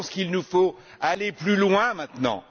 Je pense qu'il nous faut aller plus loin maintenant.